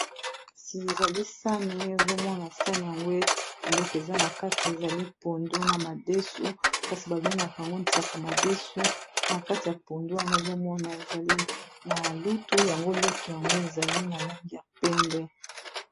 Kasi ezali sani ozomona sani yango biloko eza na kati ezali pondu na madesu kasi babengaka yango nsaka madesu na kati ya pondu wana ozomona ezali na lutu yango lutu yango ezali na langi ya pembe.